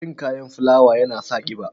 Cin kayan fulawa ya na sa ƙiba.